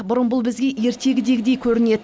бұрын бұл бізге ертегідегідей көрінет